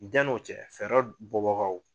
Janni o cɛ fɛɛrɛ bɔ bagaw.